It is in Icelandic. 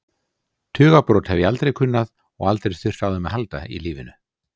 Tugabrot hef ég aldrei kunnað og aldrei þurft á þeim að halda í lífinu.